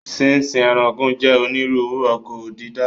Sínsín ẹranko jẹ́ onírúurú oko dídá